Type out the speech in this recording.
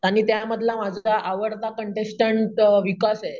आणि त्यामधला माझा आवडता कॉन्टेस्टन्टअं विकास आहे.